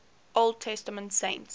old testament saints